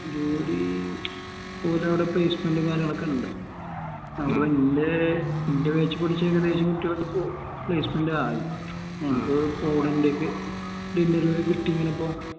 ജോലി ഒരവിടെ placement കാര്യങ്ങളൊക്കെയുണ്ട് അപ്പോ ഇന്റെ എൻറെ batch പഠിച്ച ഏകദേശം കുട്ടികൾക്കിപ്പോ placement ആയി ഞങ്ങക്ക് പോളണ്ടിലേക്ക് interview കിട്ടി ഇങ്ങനെ ഇപ്പോ